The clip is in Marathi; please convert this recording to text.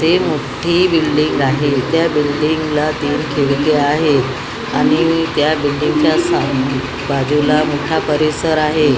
इथे मोठी बिल्डींग आहे त्या बिल्डींगला केलेली आहे आणि त्या बिल्डींगच्या बाजूला मोठा परिसर आहे.